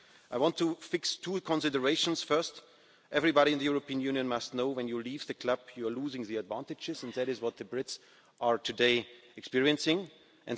I want to fix two considerations first everybody in the European Union must know that when you leave the club, you're losing the advantages, and that is what the Brits are experiencing today.